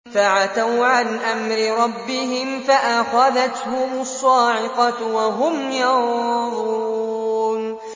فَعَتَوْا عَنْ أَمْرِ رَبِّهِمْ فَأَخَذَتْهُمُ الصَّاعِقَةُ وَهُمْ يَنظُرُونَ